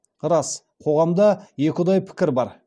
рас қоғамда екіұдай пікір бар